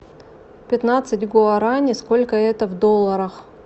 пятнадцать гуарани сколько это в долларах